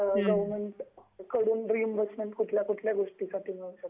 government कडून reimbursement कुठल्या कुठल्या गोष्टीसाठी मिळू शकते